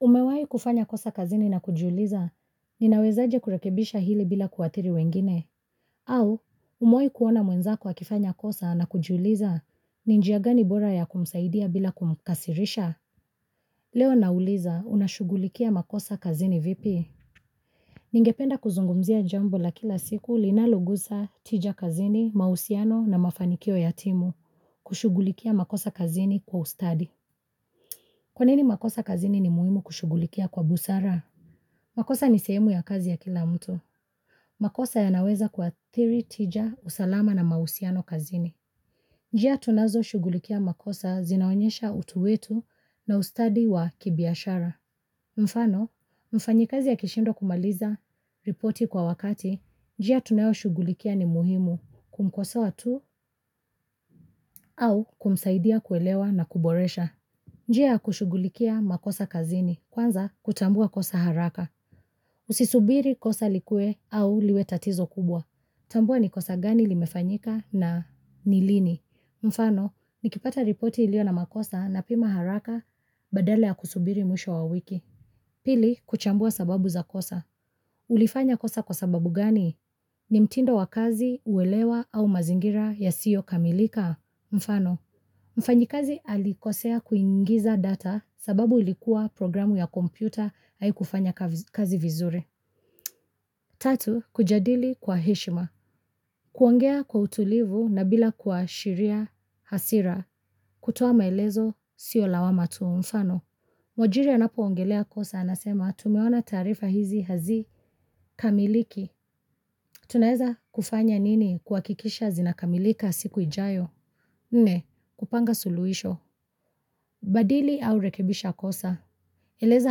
Umewai kufanya kosa kazini na kujuliza, ninawezaje kurekebisha hili bila kuathiri wengine, au umewai kuona mwenzako akifanya kosa na kujuliza, ninjiagani bora ya kumsaidia bila kumkasirisha. Leo nauliza, unashugulikia makosa kazini vipi? Ningependa kuzungumzia jambo la kila siku, linalugusa, tija kazini, mausiano na mafanikio yatimu, kushugulikia makosa kazini kwa ustadi. Kwanini makosa kazini ni muimu kushugulikia kwa busara? Makosa ni sehemu ya kazi ya kila mtu. Makosa ya naweza kuathiri tija usalama na mausiano kazini. Njia tunazo shugulikia makosa zinaonyesha utuwetu na ustadi wa kibiashara. Mfano, mfanyi kazi ya kishindwa kumaliza, ripoti kwa wakati, njia tunayo shugulikia ni muhimu kumkosa tu au kumsaidia kuelewa na kuboresha. Njia kushugulikia makosa kazini, kwanza kutambua kosa haraka. Usisubiri kosa likue au liwe tatizo kubwa. Tambua ni kosa gani limefanyika na nilini. Mfano, nikipata ripoti ilio na makosa na pima haraka badala ya kusubiri mwisho wa wiki. Pili, kuchambua sababu za kosa. Ulifanya kosa kwa sababu gani? Ni mtindo wa kazi uwelewa au mazingira ya yasiyo kamilika? Mfano, mfanyikazi alikosea kuingiza data. Sababu ilikuwa programu ya kompyuta hai kufanya kazi vizuri. Tatu, kujadili kwa hishima. Kuongea kwa utulivu na bila kuashiria hasira. Kutoa maelezo, siyo lawama tu mfano. Mwajiri anapo ongelea kosa anasema, tumeona tarifa hizi hazi kamiliki. Tunaeza kufanya nini kuakikisha zinakamilika siku ijayo. Nne, kupanga suluisho. Badili au rekebisha kosa. Eleza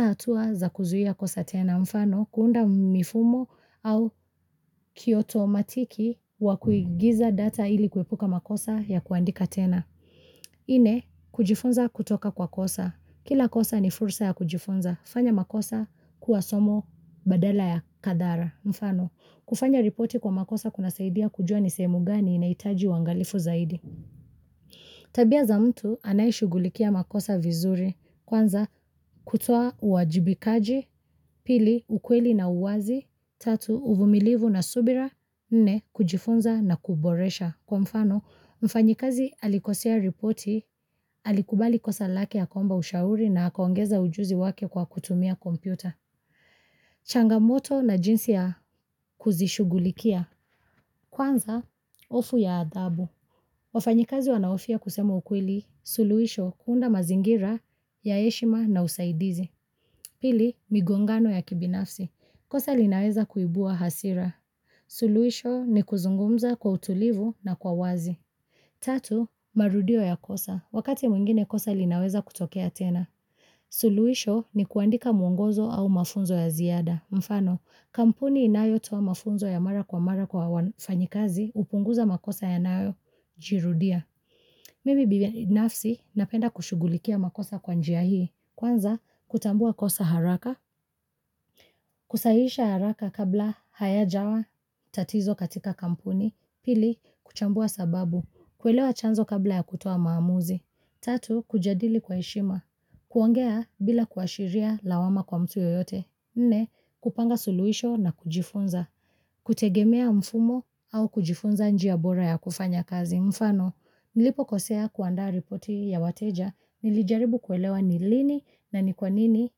hatua za kuzuia kosa tena mfano kuunda mifumo au kioto matiki wa kuingiza data ili kuepuka makosa ya kuandika tena. Ine, kujifunza kutoka kwa kosa. Kila kosa ni fursa ya kujifunza. Fanya makosa kuwasomo badala ya kadara mfano. Kufanya ripoti kwa makosa kuna saidia kujua nisemu gani inaitaji wangalifu zaidi. Tabia za mtu anayishugulikia makosa vizuri. Kwanza, kutoa uwajibikaji, pili, ukweli na uwazi, tatu, uvumilivu na subira, nne, kujifunza na kuboresha. Kwa mfano, mfanyikazi alikosea ripoti, alikubali kosa lake akaomba ushauri na akaongeza ujuzi wake kwa kutumia kompyuta. Changamoto na jinsi ya kuzishugulikia. Kwanza, ofu ya adhabu. Wafanyakazi wanaofia kusema ukweli, suluisho, unda mazingira, ya eshima na usaidizi. Pili, migongano ya kibinafsi. Kosa linaweza kuibua hasira. Suluisho ni kuzungumza kwa utulivu na kwa wazi. Tatu, marudio ya kosa. Wakati mwingine kosa linaweza kutokea tena. Suluisho ni kuandika mwongozo au mafunzo ya ziada. Mfano, kampuni inayo toa mafunzo ya mara kwa mara kwa wafanyakazi upunguza makosa yanayojirudia. Mimi binafsi napenda kushugulikia makosa kwanjia hii, kwanza kutambua kosa haraka, kusahisha haraka kabla haya jawa tatizo katika kampuni, pili kuchambua sababu, kwelewa chanzo kabla ya kutua maamuzi, tatu kujadili kwa ishima, kuangea bila kuashiria lawama kwa mtu yoyote, nne kupanga suluisho na kujifunza, kutegemea mfumo au kujifunza njia bora ya kufanya kazi mfano. Nilipo kosea kuandaa ripoti ya wateja, nilijaribu kuelewa ni lini na ni kwanini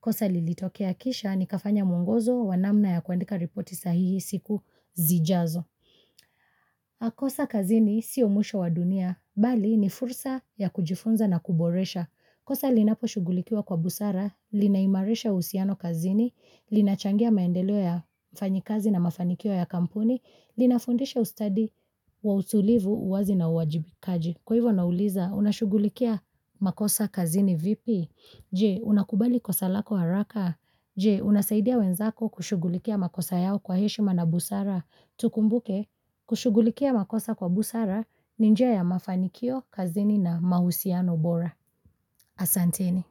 kosa lilitokea kisha ni kafanya mungozo wanamna ya kuandika ripoti sahihi siku zijazo. Makosa kazini sio mwusho wa dunia, bali ni fursa ya kujifunza na kuboresha. Kosa linapo shugulikiwa kwa busara, linaimarisha usiano kazini, linachangia maendelo ya fanyikazi na mafanikio ya kampuni, linafundisha ustadi wa utulivu uwazi na uwajibikaji. Kwa hivyo nauliza, unashugulikia makosa kazini vipi. Je, unakubali kosa lako haraka. Je, unasaidia wenzako kushugulikia makosa yao kwa heshima na busara. Tukumbuke, kushugulikia makosa kwa busara, ni njia ya mafanikio, kazini na mahusiano bora. Asanteni.